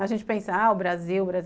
A gente pensa, ah, o Brasil, o Brasil.